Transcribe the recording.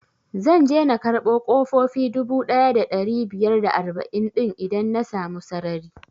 Zan je na karɓo ƙofofi dubu ɗaya da ɗari biyar da arba'in din idan na samu sarari